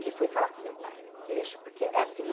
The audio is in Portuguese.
Ele foi falar com meu pai. Deixa porque é assim